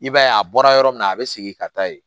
I b'a ye a bɔra yɔrɔ min na a bɛ segin ka taa yen